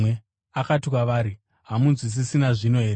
Akati kwavari, “Hamunzwisisi nazvino here?”